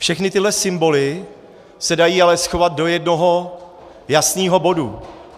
Všechny tyhle symboly se ale dají schovat do jednoho jasného bodu.